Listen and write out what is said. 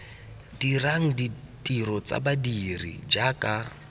dirang ditiro tsa badiri jaaka